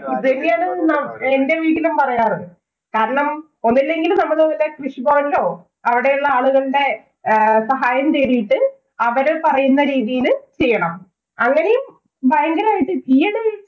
ഇത് തന്നെയാണ് എന്‍റെ വീട്ടിലും പറയാറ് കാരണം ഒന്നുമില്ലെങ്കിലും നമ്മള് കൃഷിഭവനിലോ, അവിടെയുള്ള ആളുകളുടെ സഹായം തേടിയിട്ട് അവര് പറയുന്ന രീതിയില് ചെയ്യണം. അങ്ങനേം ഭയങ്കരമായിട്ട്